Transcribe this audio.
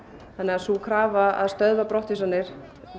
sú krafa að stöðva brottvísanir